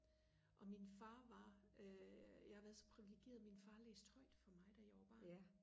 og min far var øh jeg har været så priviligeret at min far læste højt for mig da jeg var barn